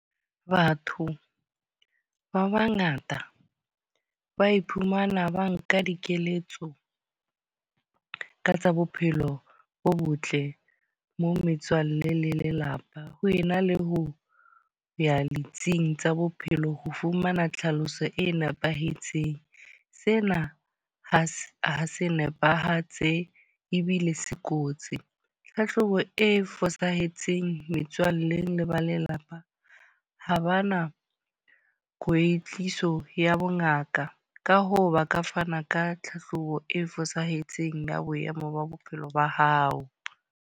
Batho ba bangata ba iphumana ba nka dikeletso ka tsa bophelo bo botle, mo metswalle le lelapa. Ho ena le ho ya ditsing tsa bophelo ho fumana tlhaloso e nepahetseng. Sena ha se ha se nepahetse ebile se kotsi. Tlhahlobo e fosahetseng metswalle le ba lelapa, ha ba na kwetliso ya bongaka. Ka hoo, ba ka fana ka tlhahlobo e fosahetseng ya boemo ba bophelo ba hao.